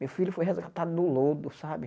Meu filho foi resgatado do lodo, sabe?